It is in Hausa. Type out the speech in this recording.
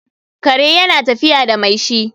kare yana tafiya da mai shi